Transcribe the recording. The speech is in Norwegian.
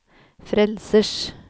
frelsers